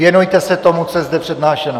Věnujte se tomu, co je zde přednášeno.